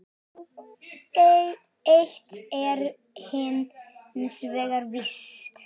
Eitt er hins vegar víst.